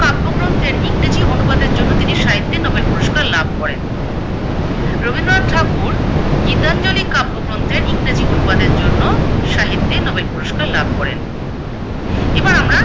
কাব্যগ্রন্থের ইংরেজি অনুবাদের জন্যে তিনি সাহিত্যে নোবেল পুরস্কার লাভ করেন? রবীন্দ্রনাথ ঠাকুর গীতাঞ্জলি কাব্যগ্রন্থের ইংরেজি অনুবাদের জন্য সাহিত্যে নোবেল পুরস্কার লাভ করেন। এবার আমরা